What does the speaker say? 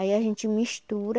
Aí a gente mistura.